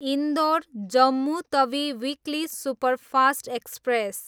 Indore, Jammu Tawi weekly superfast express